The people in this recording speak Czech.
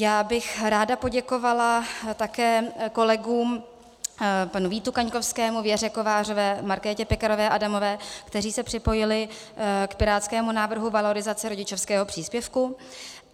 Já bych ráda poděkovala také kolegům panu Vítu Kaňkovskému, Věře Kovářové, Markétě Pekarové Adamové, kteří se připojili k pirátskému návrhu valorizace rodičovského příspěvku.